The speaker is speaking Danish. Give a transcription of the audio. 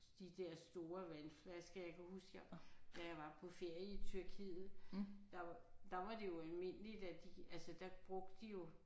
De der store vandflasker jeg kan huske jeg da jeg var på ferie i Tyrkiet der der var det jo almindeligt at de altså der brugte de jo